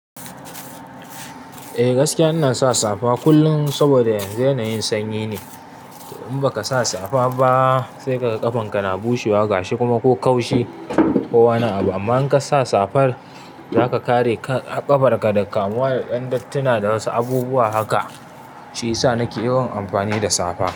Eh gaskiya ina sa safa kullum saboda yanzu yanayin sanyi ne. In baka sa safa ba, saika ga kafan ka na bushewa gashi kuma ko kaushi ko wani abun amma in kasa safar zaka kare ƙafar ka daga kamuwa da ƴandattuna da wasu abubuwa haka. Shi yasa nake yawan amfani da safa.